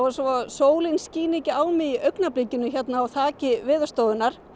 svo að sólin skíni ekki á mig í augnablikinu hérna á þaki Veðurstofunnar